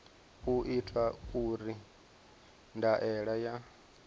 u itwa uri ndaela ya